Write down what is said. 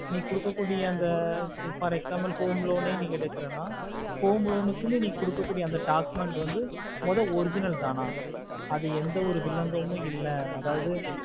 நீ குடுக்க கூடிய அந்த for example home loan ஆஹ் நீ எடுக்குறானா home loan க்குனு குடுக்க கூடிய அந்த documents வந்து மொத தான அது எந்த ஒரு விலங்கொமாம் இல்ல அதாவது